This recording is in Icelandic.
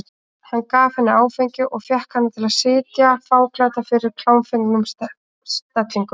Hann gaf henni áfengi og fékk hana til að sitja fáklædda fyrir í klámfengnum stellingum.